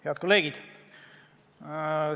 Head kolleegid!